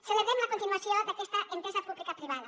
celebrem la continuació d’aquesta entesa pública privada